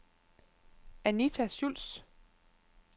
Anita Schultz